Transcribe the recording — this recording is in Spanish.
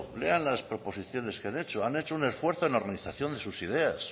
lean las proposiciones que han hecho han hecho un esfuerzo en la organización de sus ideas